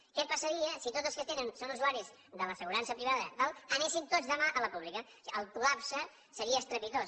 què passaria si tots els que són usuaris de l’assegurança privada i tal anessin tots demà a la pública o sigui el col·lapse seria estrepitós